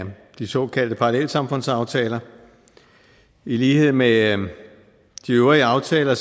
de såkaldte parallelsamfundsaftaler i lighed med de øvrige aftaler